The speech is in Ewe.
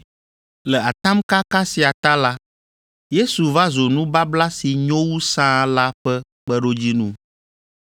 Le atamkaka sia ta la, Yesu va zu nubabla si nyo wu sãa la ƒe kpeɖodzinu.